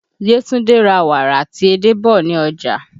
Yetunde ra wàrà àti edé bọ̀ ní ọjà